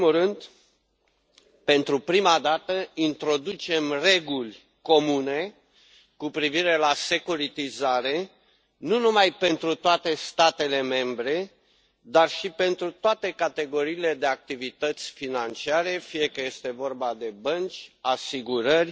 În primul rând, pentru prima dată, introducem reguli comune cu privire la securitizare, nu numai pentru toate statele membre, dar și pentru toate categoriile de activități financiare, fie că este vorba de bănci, asigurări,